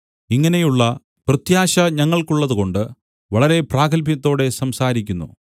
ഇങ്ങനെയുള്ള പ്രത്യാശ ഞങ്ങൾക്കുള്ളതുകൊണ്ട് വളരെ പ്രാഗത്ഭ്യത്തോടെ സംസാരിക്കുന്നു